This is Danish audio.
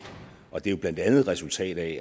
og det er blandt andet et resultat af at